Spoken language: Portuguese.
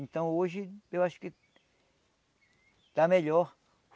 Então hoje eu acho que está melhor.